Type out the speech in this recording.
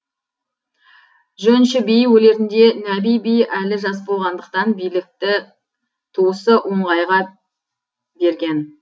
жөнші би өлерінде нәби би әлі жас болғандықтан билікті туысы оңғайға берген